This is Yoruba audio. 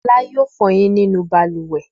Fọlá yóò fọyín nínú balùwẹ̀.